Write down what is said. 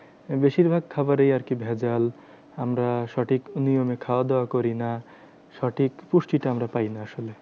বেশিরভাগ খাবারেই আরকি ভেজাল। আমরা সঠিক নিয়মে খাওয়া দাওয়া করি না। সঠিক পুষ্টিটা আমরা পাইনা আসলে।